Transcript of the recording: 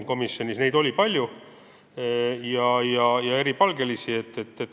Komisjonis oli palju eripalgelisi küsimusi.